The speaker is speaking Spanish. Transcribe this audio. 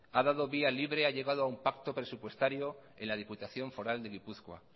ha dado vía libre ha llegado a un pacto presupuestario en la diputación foral de gipuzkoa